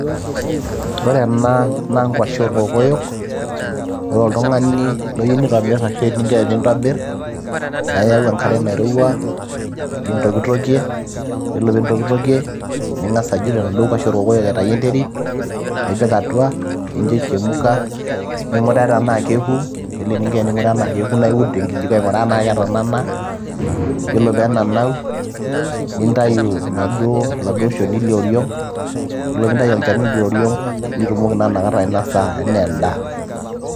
ore ena naa nkuashe orkokoyok ore oltung'ani loyieu nitobirr ashu eninko tenintobirr naa iyau enkare nairowua nintokitokie yiolo piintokitokie ning'as ajut enaduo kuashe orkokoyok aitayu enterit nipik atua nincho ichemuka ning'uraa tenaa keku yiolo eninko ening'uraa tenaa keku naa iud tenkijiko aing'uraa tenaa ketanana yiolo peenanau nintayu inaduo oladuo shoni lioriong yiolo piintayu olchoni lioriong nitumoki naa inakata ainasa enaa endaa.